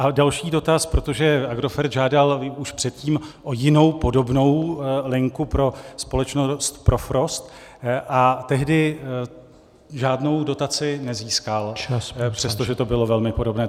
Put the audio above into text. A další dotaz, protože Agrofert žádal už předtím o jinou, podobnou linku pro společnost Profrost, a tehdy žádnou dotaci nezískal , přestože to bylo velmi podobné.